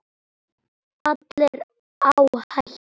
Allir á hættu.